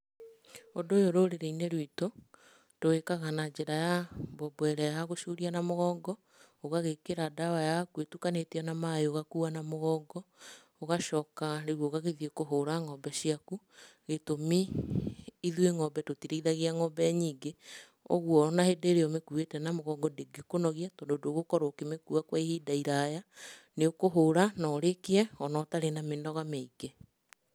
Ũndũ ũyũ rũrĩrĩ-inĩ rwitũ, tũwĩkaga na njĩra ya mbombo ĩrĩa yagũcuria na mũgongo. Ũgagĩkĩra ndawa yaku itukanĩtio na maĩ ũgakua na mũgongo. Ũgacoka rĩu ũgagĩthiĩ kũhũra ng'ombe ciaku. Gĩtũmi, ithuĩ ng'ombe tũtirĩithagia ng'ombe nyingĩ. Ũguo ona hĩndĩ ĩrĩa ũmĩkuite na mũgongo ndĩngĩkũnogia, tondũ ndũgũkorwo ũkĩmĩkua kwa ihinda iraya. Nĩ ũkũhũra, na ũrĩkie ona ũtarĩ na mĩnoga mĩingĩ.